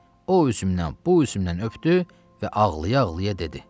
O üzümdən, bu üzümdən öpdü və ağlaya-ağlaya dedi: